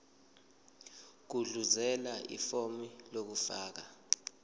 gudluzela ifomu lokufaka